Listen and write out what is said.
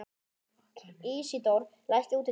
Ísidór, læstu útidyrunum.